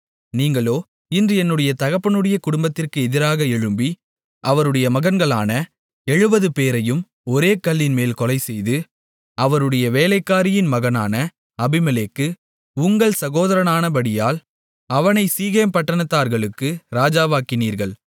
நீங்களோ இன்று என்னுடைய தகப்பனுடைய குடும்பத்திற்கு எதிராக எழும்பி அவருடைய மகன்களான 70 பேரையும் ஒரே கல்லின்மேல் கொலைசெய்து அவருடைய வேலைக்காரியின் மகனான அபிமெலேக்கு உங்கள் சகோதரனானபடியால் அவனைச் சீகேம் பட்டணத்தார்களுக்கு ராஜாவாக்கினீர்கள்